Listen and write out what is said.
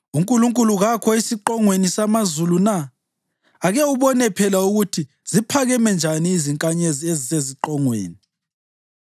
UNkulunkulu kakho esiqongweni samazulu na? Ake ubone phela ukuthi ziphakeme njani izinkanyezi ezisesiqongweni!